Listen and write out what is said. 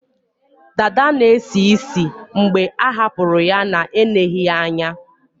Dada na-esi ísì mgbe a hapụrụ ya na-eneghi ya anya